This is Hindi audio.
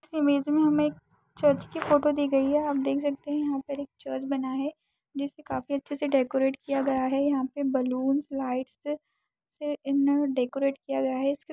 इस इमेज में हमें एक चर्च की फ़ोटो दी गई है | आप देख सकते हैं यहाँ पर एक चर्च बना है जिसे काफी अच्छे से डेकोरेट किया गया है। यहाँ पर बैलून लाइट्स इन डेकोरेट किया गया है।